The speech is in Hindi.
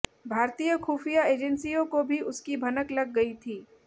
भारतीय खुफिया एजेंसियों को भी उसकी भनक लग गई थी